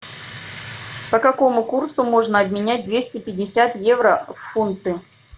по какому курсу можно обменять двести пятьдесят евро в фунты